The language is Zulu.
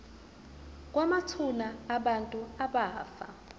kwamathuna abantu abafa